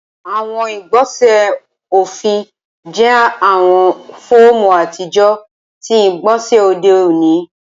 Awọn igbọnsẹ ọfin jẹ awọn fọọmu atijọ ti igbonse ode oni